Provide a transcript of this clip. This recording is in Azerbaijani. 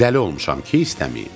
Dəli olmuşam ki istəmiyib.